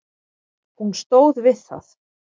Hún stóð við það.